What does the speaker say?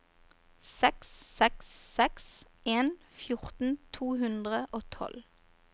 seks seks seks en fjorten to hundre og tolv